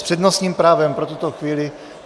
S přednostním právem pro tuto chvíli...